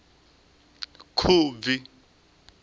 khubvi